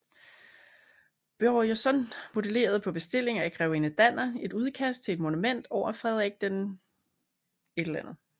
Börjeson modelerede på bestilling af grevinde Danner et udkast til et monument over Frederik VII